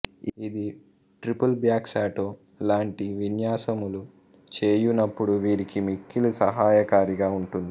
ఇది ట్రిపుల్బ్యాక్సాల్టో లాంటి విన్యాసములు చేయునపుడు వీరికి మిక్కిలి సహాయకారిగా ఉంటుంది